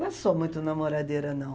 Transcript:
Não sou muito namoradeira, não.